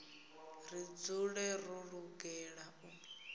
ri dzule ro lugela u